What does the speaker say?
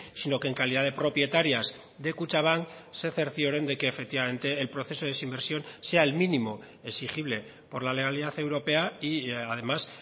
sino que en calidad de propietarias de kutxabank se cercioren de que efectivamente el proceso de desinversión sea el mínimo exigible por la legalidad europea y además